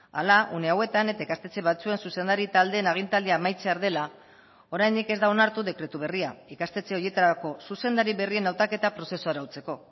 hala une hauetan eta ikastetxe batzuen zuzendari taldeen agintaldia amaitzear dela oraindik ez da onartu dekretu berria ikastetxe horietarako zuzendari berrien hautaketa prozesua arautzeko